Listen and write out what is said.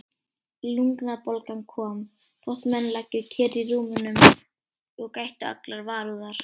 Lungnabólgan kom, þótt menn lægju kyrrir í rúmunum og gættu allrar varúðar.